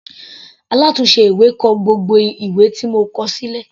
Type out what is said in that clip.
Alátùnse ìwé kọ gbogbo ìwé tí mo kọ sílẹ̀.